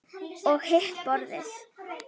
Og hitt borðið?